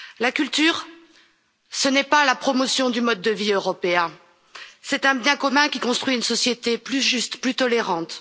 La culture, ce n'est pas la promotion du mode de vie européen, c'est un bien commun qui construit une société plus juste, plus tolérante.